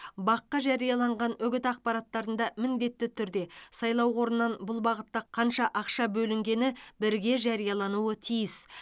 бақ қа жарияланған үгіт ақпараттарында міндетті түрде сайлау қорынан бұл бағытта қанша ақша бөлінгені бірге жариялануы тиіс